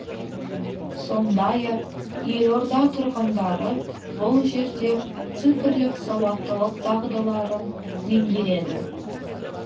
сондай ақ елорда тұрғындары бұл жерде цифрлық сауаттылық дағдыларын меңгереді